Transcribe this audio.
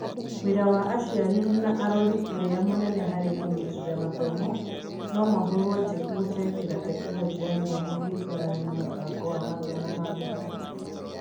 Wĩra wa aciari na arori ũrĩa mũnene harĩ kũnyitĩrĩra mathomo no mahũrwo njeki kũhetũkĩra Tekinoronjĩ ya Gĩthomo ĩgĩtũarana na mũbango wa mathomo wa thukuru.